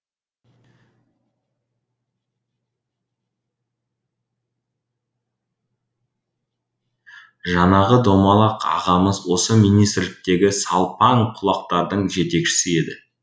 жанағы домалақ ағамыз осы министрліктегі салпаң құлақтардың жетекшісі еді